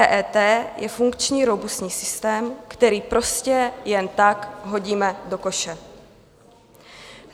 EET je funkční robustní systém, který prostě jen tak hodíme do koše.